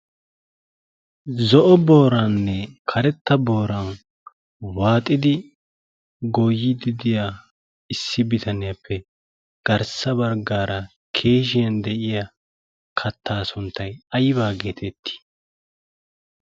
zo'o booraanne karetta booran waaxidi goyi didiya issi bitaniyaappe garssa barggaara keeshiyan de'iya kattaa sunttay aybaa geetettii?